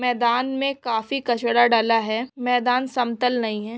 मैदान में काफी कचरा डाला है मैदान समतल नाही है।